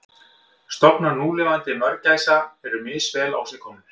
Stofnar núlifandi mörgæsa eru misvel á sig komnir.